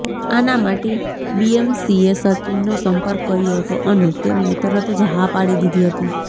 આના માટે બીએમસીએ સચિનનો સંપર્ક કર્યો હતો અને તેમણે તરત જ હા પાડી દીધી હતી